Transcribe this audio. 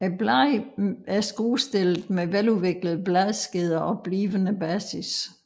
Bladene er skruestillede med veludviklede bladskeder og blivende basis